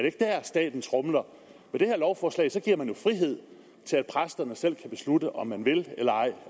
ikke der staten tromler med det her lovforslag giver man jo frihed til at præsterne selv kan beslutte om de vil eller ej